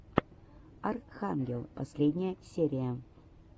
архангел последняя серия